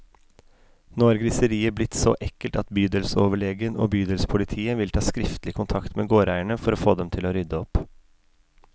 Nå har griseriet blitt så ekkelt at bydelsoverlegen og bydelspolitiet vil ta skriftlig kontakt med gårdeierne, for å få dem til å rydde opp.